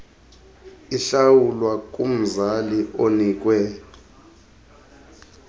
ihlawulwa kumzali onikwe